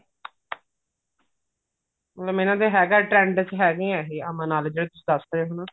ਮੈਨੂੰ ਲੱਗਦਾ ਹੈਗਾ trend ਹੈਗੇ ਐ ਇਹ ਅਮਨ ਆਲੇ ਜਿਹੜੇ ਤੁਸੀਂ ਦੱਸ ਰਹੇ ਓ ਹਨਾ